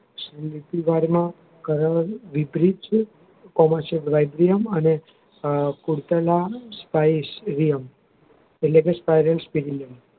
અને મૃત્ય ઘાટ માં કરણ વિપરીત છે કરણ ક્ષેત્ર અને કુરતના Spicy એટલે કે